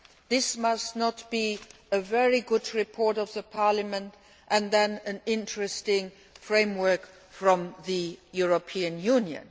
This must not be a case of a very good report by Parliament and then an interesting framework from the European Union